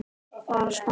Bara smá.